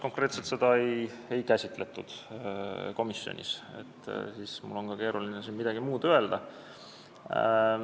Konkreetselt nii seda küsimust komisjonis ei käsitletud, nii et mul on ka keeruline siin midagi öelda.